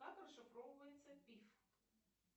как расшифровывается пиф